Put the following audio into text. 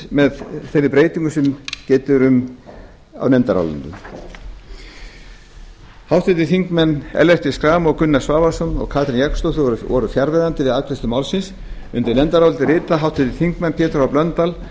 með þeirri breytingu sem getið er um á nefndarálitinu háttvirtir þingmenn ellert b schram gunnar svavarsson og katrín jakobsdóttir voru fjarverandi við afgreiðslu málsins undir nefndarálitið rita háttvirtir þingmenn pétur h blöndal